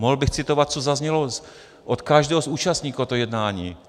Mohl bych citovat, co zaznělo od každého z účastníků toho jednání.